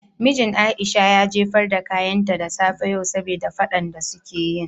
Mijin Aisha ya jefar da kayanta da safe yau saboda fadan de su ke yin.